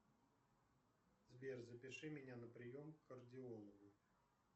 сбер запиши меня на прием к кардиологу